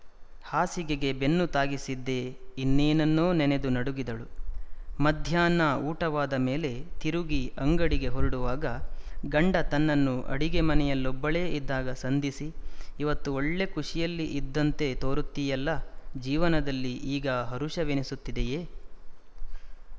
ಹಾಸಿಗೆಗೆ ಬೆನ್ನು ತಾಗಿಸಿದ್ದೇ ಇನ್ನೇನನ್ನೊ ನೆನೆದು ನಡುಗಿದಳು ಮಧ್ಯಾಹ್ನ ಊಟವಾದ ಮೇಲೆ ತಿರುಗಿ ಅಂಗಡಿಗೆ ಹೊರಡುವಾಗ ಗಂಡ ತನ್ನನ್ನು ಅಡಿಗೆಮನೆಯಲ್ಲೊಬ್ಬಳೇ ಇದ್ದಾಗ ಸಂಧಿಸಿ ಇವತ್ತು ಒಳ್ಳೇ ಖುಶಿಯಲ್ಲಿ ಇದ್ದಂತೆ ತೋರುತ್ತೀಯಲ್ಲ ಜೀವನದಲ್ಲಿ ಈಗ ಹರುಷವೆನಿಸುತ್ತಿದೆಯೇ